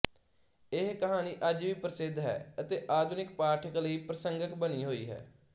ਇਹ ਕਹਾਣੀ ਅੱਜ ਵੀ ਪ੍ਰਸਿੱਧ ਹੈ ਅਤੇ ਆਧੁਨਿਕ ਪਾਠਕ ਲਈ ਪ੍ਰਸੰਗਿਕ ਬਣੀ ਹੋਈ ਹੈ